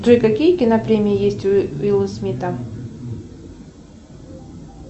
джой какие кинопремии есть у уилла смита